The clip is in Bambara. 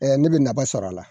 Ne bɛ naba sɔrɔ a la